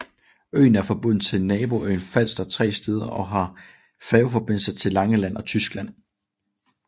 Øen er forbundet til naboøen Falster tre steder og har færgeforbindelser til Langeland og Tyskland